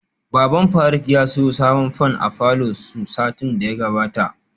Baban faruk ya siyo sabon fan a falor su satin daya gabata